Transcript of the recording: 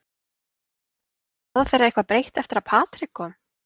Er staða þeirra eitthvað breytt eftir að Patrick kom?